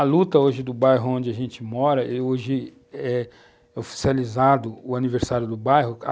A luta hoje do bairro onde a gente mora, hoje é oficializado o aniversário do bairro.